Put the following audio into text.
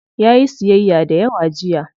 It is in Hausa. Yayi siyyaya dayawa jiya.